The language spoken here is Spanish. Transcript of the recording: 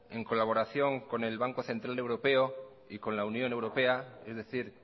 en colaboración con el banco central europeo y con la unión europea es decir